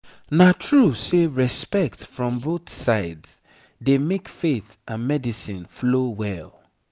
na true say respect from both sides dey make faith and medicine flow well